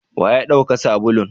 wa yadauka sabulun?